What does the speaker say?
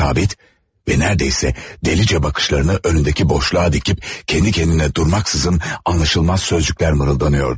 Sabit və demək olar ki, dəlicə baxışlarını önündəki boşluğa dikib, öz-özünə durmadan anlaşılmaz sözlər mırıldanırdı.